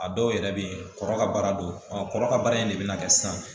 A dɔw yɛrɛ bɛ ye kɔrɔ ka baara don ɔ kɔrɔ ka baara in de bɛ na kɛ sisan